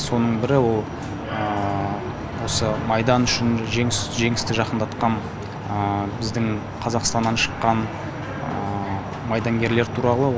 соның бірі ол осы майдан үшін жеңісті жақындатқан біздің қазақстаннан шыққан майдангерлер туралы